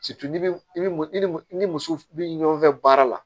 n'i bɛ i bɛ mɔ i ni i ni muso bɛ ɲɔgɔn fɛ baara la